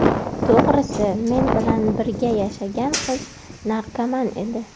To‘g‘risi, men bilan birga yashagan qiz narkoman edi.